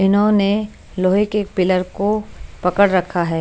इन्होने लोहे के पिलर को पकड़ रखा है।